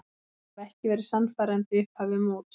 Hafa ekki verið sannfærandi í upphafi móts.